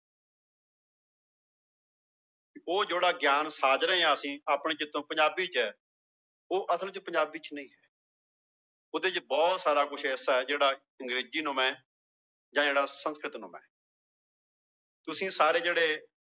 ਉਹ ਜਿਹੜਾ ਗਿਆਨ ਸਾਜ ਰਹੇ ਹਾਂ ਅਸੀਂ ਆਪਣੇ ਚਿੱਤੋਂ ਪੰਜਾਬੀ ਚ ਉਹ ਅਸਲ ਚ ਪੰਜਾਬੀ ਚ ਨਹੀਂ ਹੈ ਉਹਦੇ ਚ ਬਹੁਤ ਸਾਰਾ ਕੁਛ ਐਸਾ ਹੈ ਜਿਹੜਾ ਅੰਗਰੇਜ਼ੀ ਨੁਮਾ ਹੈ ਜਾਂ ਜਿਹੜਾ ਸੰਸਕ੍ਰਿਤ ਨੁਮਾ ਹੈ ਤੁਸੀਂ ਸਾਰੇ ਜਿਹੜੇ